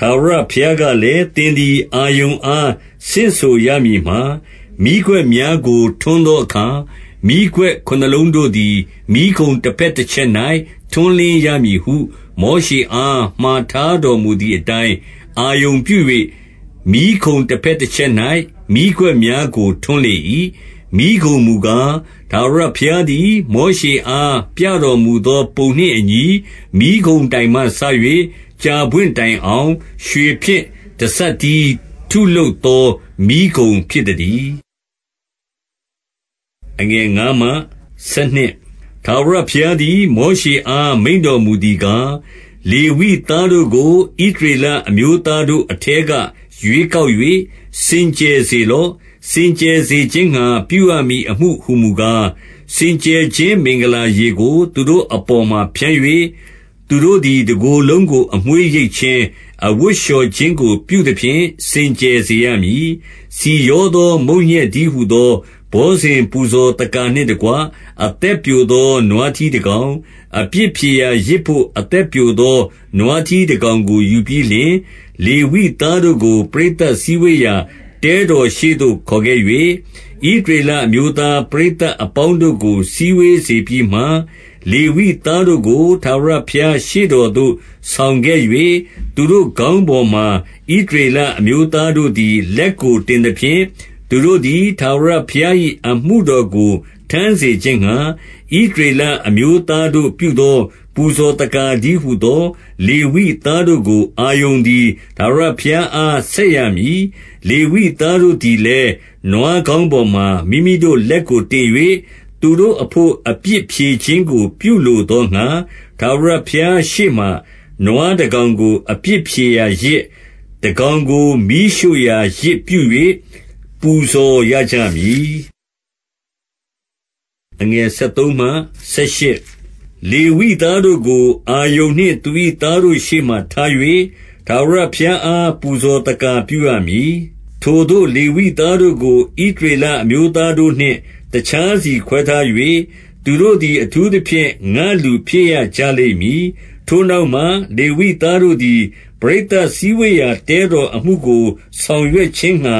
ထာဝရဘုရားကလည်း၊ သင်သည် အာရုန်အား ဆင့်ဆိုရမည်မှာ၊ 2 မီးခွက်များကို ထွန်းသောအခါ၊ မီးခွက်ခုနစ်လုံး တို့သည် မီးခုံတဘက်တချက်၌ ထွန်းလင်းရမည်ဟု၊ 3 မောရှေအား မှာထားတော်မူသည်အတိုင်း၊ အာရုန်ပြု၍ မီးခုံတဘက်တချက်၌ မီးခွက်များကို ထွန်းလေ၏။ 4 မီးခုံမူကား၊ ထာဝရဘုရားသည် မောရှေအား ပြတော်မူသော ပုံနှင့်အညီ မီးခုံတိုင်မှစ၍ ကြာပွင့်တိုင် အောင် ရွှေဖြင့် တစပ်တည်းထုလုပ်သော မီးခုံဖြစ်သ တည်း။ 5 ထာဝရဘုရားသည် မောရှေအား မိန့်တော်မူ သည်ကား 6 လေဝိသားတို့ကို၊ ဣသရေလအမျိုးသားတို့ အထဲက ရွေးကောက်၍ စင်ကြယ်စေလော့။ 7 စင်ကြယ်စေခြင်းငှါ ပြုရမည်အမှုဟူမူကား၊ စင်ကြယ်ခြင်း မင်္ဂလာရေကို သူတို့အပေါ်မှာဖြန်း၍၊ သူတို့ သည် တကိုယ်လုံးကို အမွေးရိတ်ခြင်း၊ အဝတ်လျှော်ခြင်း ကို ပြုသဖြင့် စင်ကြယ်စေရမည်။ 8 ဆီရောသော မုန့်ညက်တည်းဟူသော ဘောဇဉ် ပူဇော်သက္ကာနှင့်တကွ၊ အသက်ပျိုသော နွားထီးတကောင်၊ အပြစ်ဖြေရာယဇ်ဘို့ အသက်ပျိုသော နွားထီးတကောင် ကို ယူပြီးလျှင်၊ 9 လေဝိသားတို့ကို ပရိသတ်စည်းဝေးရာ တဲတော် ရှေ့သို့ခေါ်ခဲ့၍၊ ဣသရေလအမျိုးသား ပရိသတ်အပေါင်း တို့ကို စည်းဝေးစေပြီးမှ၊ 10 လေဝိသားတို့ကို ထာဝရဘုရားရှေ့တော်သို့ ဆောင်ခဲ့၍၊ သူတို့ခေါင်းပေါ်မှာ ဣသရေလအမျိုးသား တို့သည် လက်ကိုတင်သဖြင့်၊ 11 သူတို့သည် ထာဝရဘုရား၏ အမှုတော်ကို ထမ်း စေခြင်းငှါ၊ ဣသရေလအမျိုးသားတို့ပြုသော ပူဇော် သက္ကာတည်းဟူသော လေဝိသားတို့ကို အာရုန်သည် ထာဝရဘုရားအား ဆက်ရမည်။ 12 လေဝိသားတို့သည်လည်း၊ နွားခေါင်းပေါ်မှာ မိမိ တို့လက်ကို တင်၍၊ သူတို့အဘို့ အပြစ်ဖြေခြင်းကို ပြုလို သောငှါ၊ ထာဝရဘုရားရှေ့မှာ နွားတကောင်ကို အပြစ် ဖြေရာယဇ်၊ တကောင်ကို မီးရှို့ရာ ယဇ်ပြု၍ ပူဇော်ရကြ မည်။ 13 လေဝိသားတို့ကို၊ အာရုန်နှင့်သူ၏ သားတို့ရှေ့မှာ ထား၍ ထာဝရဘုရားအား ပူဇော်သက္ကာပြုရမည်။ 14 ထိုသို့ လေဝိသားတို့ကို ဣသရေလအမျိုးသားတို့ နှင့် တခြားစီခွဲထား၍၊ သူတို့သည် အထူးသဖြင့် ငါ့လူဖြစ်ရ ကြလိမ့်မည်။ 15 ထိုနောက်မှ လေဝိသားတို့သည်၊ ပရိသတ် စည်းဝေးရာ တဲတော်အမှုကို ဆောင်ရွက်ခြင်းငှါ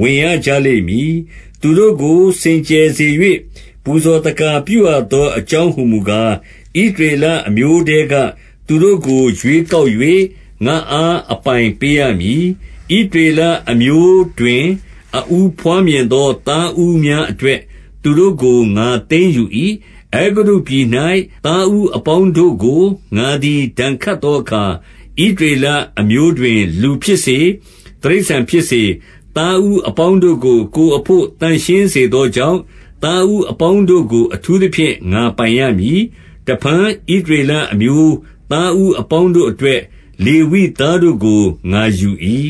ဝင်ရကြ လိမ့်မည်။ သူတို့ကို စင်ကြယ်စေ၍ ပူဇော်သက္ကာ၊ ပြုရ သော အကြောင်းဟူမူကား၊ 16 ဣသရေလ အမျိုးထဲက သူတို့ကို ရွေးကောက်၍၊ ငါ့အား အပိုင်ပေးရမည်။ ဣသရေလအမျိုးတွင် အဦး ဘွားမြင်သော သားဦးများအတွက် သူတို့ကို ငါသိမ်း ယူ၏။ 17 အဲဂုတ္တုပြည်၌ သားဦးအပေါင်းတို့ကို ငါသည် ဒဏ်ခတ်သောအခါ ဣသရေလအမျိုးတွင်လူဖြစ်စေ၊ တိရစ္ဆာန်ဖြစ်စေ၊ သားဦးအပေါင်းတို့ကို ကိုယ်အဘို့ သန့်ရှင်းစေသောကြောင့်၊ သားဦးအပေါင်းတို့ကို အထူး သဖြင့် ငါပိုင်ရမည်။ 18 တဖန် ဣသရေလအမျိုးသားဦး အပေါင်းတို့ အတွက်၊ လေဝိသားတို့ကို ငါယူ၏။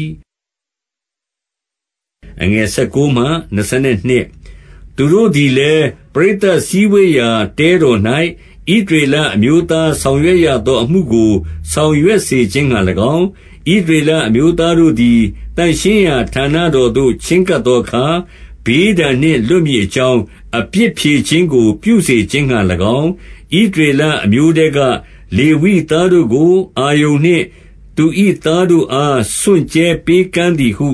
19 သူတို့သည်လည်း ပရိသတ်စည်းဝေးရာ တဲတော် ၌၊ ဣသရေလအမျိုးသားဆောင်ရွက်ရသော အမှုကို ဆောင်ရွက်စေခြင်းငှါ၎င်း၊ ဣသရေလအမျိုးသားတို့သည် သန့်ရှင်းရာ ဌာနတော်သို့ ချဉ်းကပ်သောအခါ၊ ဘေးဒဏ်နှင့် လွတ်မည်အကြောင်း၊ အပြစ်ဖြေခြင်းကို ပြုစေခြင်းငှာ၎င်း၊ ဣသရေလအမျိုးထဲက လေဝိ သားတို့ကို အာရုန်နှင့် သူ၏သားတို့အား စွန့်ကြဲပေးကမ်း သည်ဟု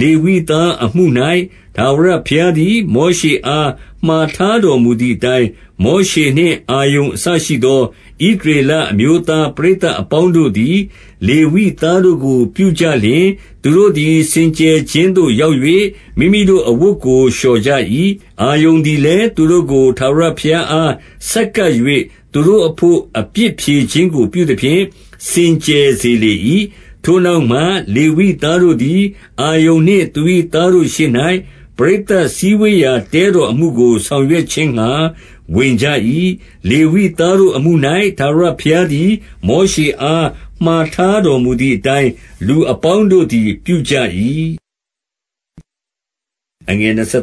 ၊ 20 လေဝိသားအမှု၌၊ ထာဝရဘုရားသည် မောရှေ အား မှာထားတော်မူသည်အတိုင်း မောရှေနှင့် အာရုန် အစရှိသော ဣသလေရအမျိုးသား ပရိသတ် အပေါင်းတို့ သည် လေဝိသားတို့ကို ပြုကြလျှင်၊ 21 သူတို့သည် စင်ကြယ်ခြင်းသို့ရောက်၍ မိမိတို့ အဝတ်ကို လျှော်ကြ၏။ အာရုန်သည်လည်း၊ သူတို့ကို ထာဝရ ဘုရားအား ဆက်ကပ်၍ သူတို့အဘို့ အပြစ်ဖြေခြင်းကို ပြုသဖြင့် စင်ကြယ်စေလေ၏။ 22 ထိုနောက်မှ လေဝိသားတို့သည် အာရုန်နှင့်သူ၏ သားတို့ရှေ့၌ ပရိသတ်စည်းဝေးရာတဲတော်အမှုကို ဆောင်ရွက်ခြင်းငှါ ဝင်ကြ၏။ လေဝိသားတို့အမှု၌ ထာဝရဘုရားသည် မောရှောအားမှာထားတော်မူသည် အတိုင်း လူအပေါင်းတို့သည် ပြုကြ၏။ 23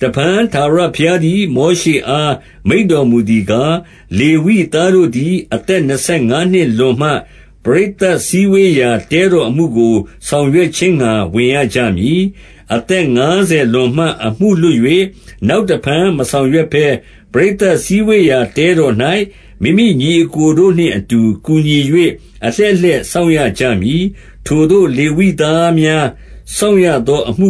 တဖန်ထာဝရဘုရားသည် မောရှေအား မိန့်တော်မူသည်ကား၊ 24 လေဝိသားတို့သည် အသက်နှစ်ဆယ်ငါးနှစ် လွန်မှ၊ ပရိသတ်စည်းဝေးရာ တဲတော်အမှုကို ဆောင်ရွက် ခြင်းငှါ ဝင်ရကြမည်။ 25 အသက်ငါးဆယ်လွန်မှ အမှုလွတ်၍ နောက် တဖန် မဆောင်ရွက်ဘဲ ပရိသတ်စည်းဝေးရာ တဲတော်၌ မိမိညီအစ်ကိုတို့နှင်အတူ ကူညီ၍ အလှည့်လှည့်စောင့် ရကြမည်။ ထိုသို့ လေဝိသားများ စောင့်ရသောအမ